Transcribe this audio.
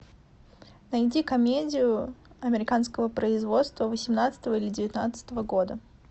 найди комедию американского производства восемнадцатого или девятнадцатого года